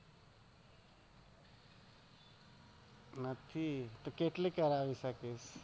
નહિ કેટલી કરાવી શકે?